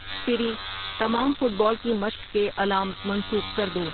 سیری تمام football کی مشق کے الارمز منسوخ کر دو